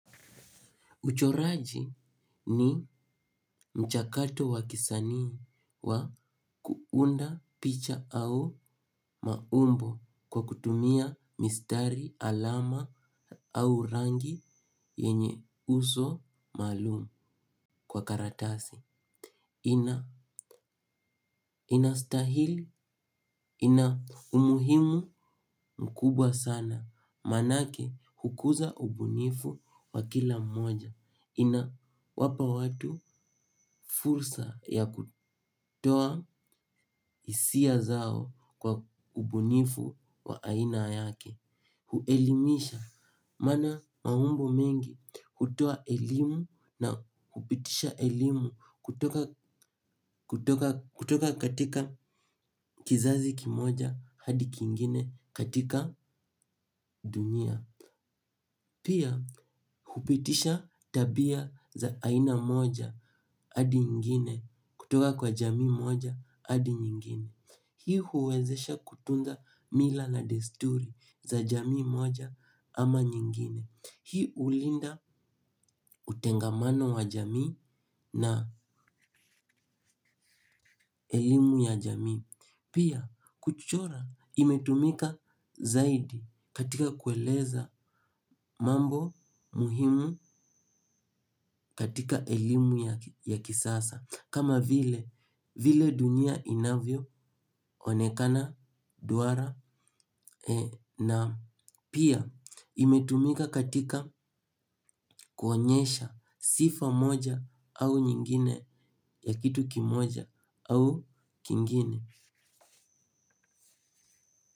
Uchoraji ni mchakato wa kisanii wa kuunda picha au maumbo kwa kutumia mistari alama au rangi yenye uso maalumu kwa karatasi. Inastahili, ina umuhimu mkubwa sana. Manake hukuza ubunifu wa kila moja. Ina wapa watu fursa ya kutoa hisia zao kwa ubunifu wa aina yake. Huelimisha, maana maumbo mengi hutoa elimu na hupitisha elimu. Kutoka katika kizazi kimoja hadi kingine katika dunia. Pia, hupitisha tabia za aina moja hadi ingine. Kutoka kwa jamii moja hadi nyingine hii huwezesha kutunza mila na desturi za jamii moja ama nyingine. Hii ulinda utengamano wa jamii na elimu ya jamii. Pia kuchora imetumika zaidi katika kueleza mambo muhimu katika elimu ya kisasa kama vile dunia inavyo onekana duwara na pia imetumika katika kuonyesha sifa moja au nyingine ya kitu kimoja au kingine.